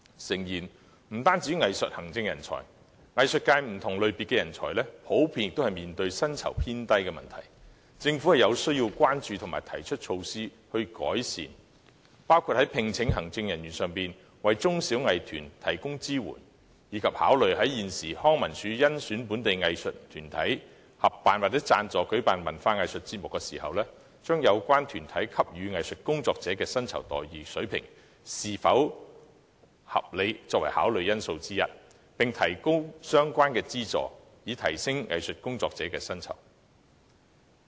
當然，不單藝術行政人才，藝術界多個類別的人才也面對薪酬偏低的問題，政府應要關注和實施改善措施，包括就聘請行政人員為中小藝團提供支援，以及考慮在康樂及文化事務署甄選本地藝術團體作為合作夥伴或贊助舉辦文化藝術節目時，把有關團體是否給予藝術工作者合理薪酬待遇列作考慮因素之一，並提高相關的資助，以提升藝術工作者的薪酬。